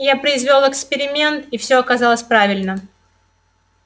я произвёл эксперимент и всё оказалось правильно